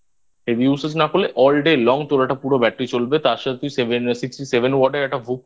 Heavy Usage না করলে All Day Long তোর একটা পুরো Battery চলবে. তার সাথে তুই Sixty Seven Watt এর একটা হূক